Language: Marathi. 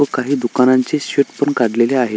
व काही दुकानांचे शेड पण काढलेले आहेत.